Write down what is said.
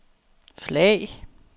flag